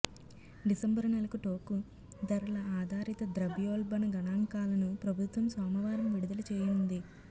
December నెలకు టోకు ధరల ఆధారిత ద్రవ్యోల్బణ గణాంకాలను ప్రభుత్వం సోమవారం విడుదల చేయనుంది